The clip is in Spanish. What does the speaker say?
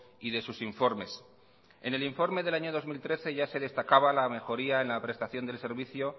y de sus informes en el informe del año dos mil trece ya se destacaba la mejoría en la prestación del servicio